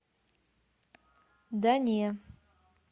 да не